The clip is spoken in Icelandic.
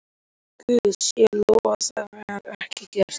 Guði sé lof að það var ekki gert.